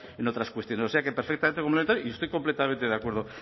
en otras cuestiones o sea que perfectamente complementario y estoy completamente de acuerdo